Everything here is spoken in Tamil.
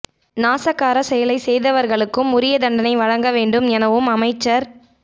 நாசகார செயலை செய்தவர்களுக்கும் உரிய தண்டனை வழங்க வேண்டும் எனவும் அமைச்சர்